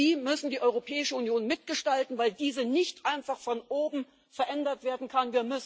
Sie müssen die Europäische Union mitgestalten, weil diese nicht einfach von oben verändert werden kann.